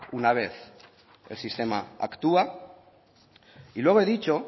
una vez el sistema actúa y luego he dicho